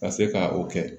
Ka se ka o kɛ